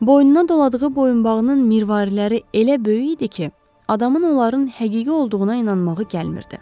Boynuna doladığı boyunbağının mirvariləri elə böyük idi ki, adamın onların həqiqi olduğuna inanmağı gəlmirdi.